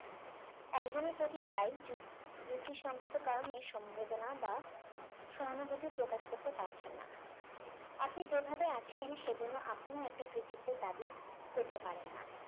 একজনের প্রতি তাই যুকি যুক্তিসংগত কারণে সম্ভাদনা বা সহানুভূতি প্রকাশ করতে পারছেন না আপনি যেভাবে আছেন সেজন্য আপনিও একটা কৃতিত্বের দাবি করতে পারেন না